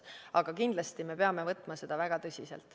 Aga kindlasti me peame võtma seda väga tõsiselt.